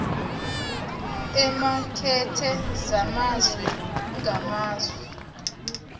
eemakethe zamazwe ngamazwe